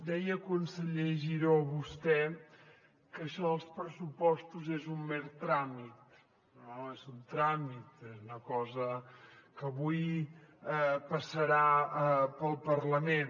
deia conseller giró vostè que això dels pressupostos és un mer tràmit no és un tràmit és una cosa que avui passarà pel parlament